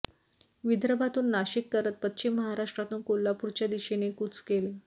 विदर्भातून नाशिक करत पश्चिम महाराष्ट्रातून कोल्हापूरच्या दिशेने कूच केले